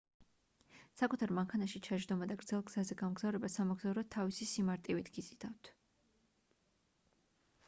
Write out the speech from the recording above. საკუთარ მანქანაში ჩაჯდომა და გრძელ გზაზე გამგზავრება სამოგზაუროდ თავისი სიმარტივით გიზიდავთ